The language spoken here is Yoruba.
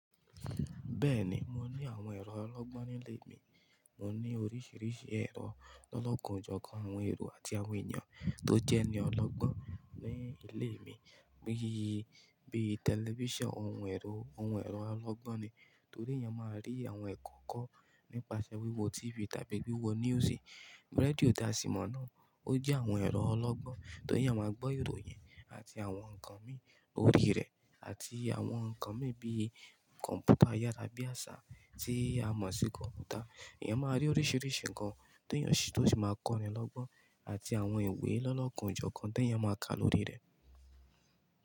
Bẹ́ẹ̀ni, mo ní àwọn ẹ̀rọ ológbón nílé mi. Mo ní oríṣìíríṣìí ẹ̀rọ lọ́lọ́kan ojọ̀kan àwọn ẹ̀rọ àti àwọn èèyàn tó jẹ́ní ọlọ́gbọ́n ní ilé mi. Bíi, bíi tẹlifíṣàn, ohun ẹ̀rọ, ohun ẹ̀rọ alagbọn ni, torí èèyàn máa rí àwọn ẹ̀kọ́ kọ́ nípasẹ̀ wíwo TV tàbí wíwo news. Rédíò tasímọ̀ náà, ó jẹ́ àwọn ẹ̀rọ ọlọ́gbọ́n, torí èèyàn máa gbọ́ ìròyìn àti àwọn ǹkan mí lórí rẹ̀ àti àwọn ǹkan mí bí kọ̀mpútà ayàrá bí àṣá tí a mọ̀ sí kọ̀mpútà. Ẹ̀yàn máa rí oríṣìíríṣìí ǹkan tó yàn ṣí tó sì máa kọ́ni lọ́gbọ́n àti àwọn ìwé lọ́lọ́kun jọ̀kan tó èèyàn máa kà lórí rẹ̀.